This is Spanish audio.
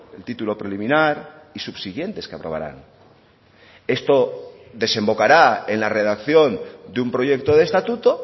el título preliminar y subsiguientes que aprobarán esto desembocará en la redacción de un proyecto de estatuto